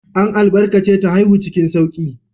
An albarkace ta haihu cikin sauƙi.